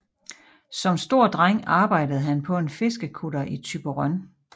Som stor dreng arbejdede han på en fiskekutter i Thyborøn